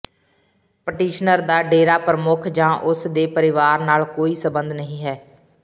petitioner ਦਾ ਡੇਰਾ ਪ੍ਰਮੁੱਖ ਜਾਂ ਉਸ ਦੇ ਪਰਿਵਾਰ ਨਾਲ ਕੋਈ ਸਬੰਧ ਨਹੀਂ ਹੈ